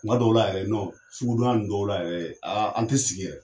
Kuma dɔw la yɛrɛ sugu don ya nunnu dɔw la yɛrɛ an te sigi.